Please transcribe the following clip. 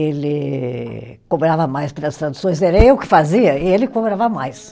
Ele cobrava mais pelas traduções, era eu que fazia, e ele cobrava mais.